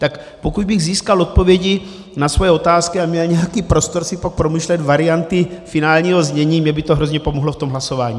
Tak pokud bych získal odpovědi na svoje otázky a měl nějaký prostor si pak promýšlet varianty finálního znění, mně by to hrozně pomohlo v tom hlasování.